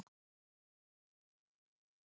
Mikið reykt á dönskum vinnustöðum